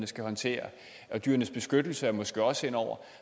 skal håndtere og dyrenes beskyttelse er måske også inde over